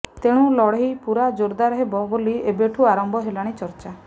ତେଣୁ ଲଢେଇ ପୂରା ଜୋରଦାର ହେବ ବୋଲି ଏବେଠୁ ଆରମ୍ଭ ହେଲାଣି ଚର୍ଚ୍ଚା